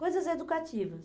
Coisas educativas.